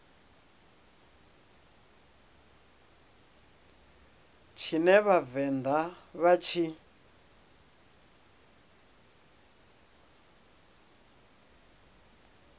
tshine vha vhavenḓa vha tshi